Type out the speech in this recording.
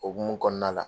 O hukumu kɔnɔna la